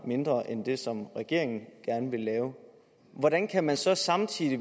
mindre end det som regeringen gerne vil lave hvordan kan man så samtidig